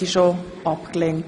Sprecher/in)